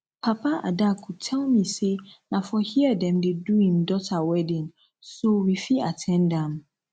papa adaku tell me say na for here dem go do im daughter wedding so we fit at ten d am